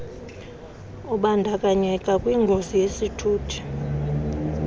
ubandakanyeka kwingozi yesithuthi